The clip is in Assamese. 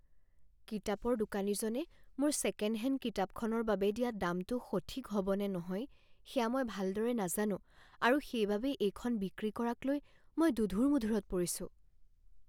কিতাপৰ দোকানীজনে মোৰ ছেকেণ্ড হেণ্ড কিতাপখনৰ বাবে দিয়া দামটো সঠিক হ'বনে নহয় সেয়া মই ভালদৰে নাজানো আৰু সেইবাবে এইখন বিক্ৰী কৰাকলৈ মই দোধোৰ মোধোৰত পৰিছোঁ।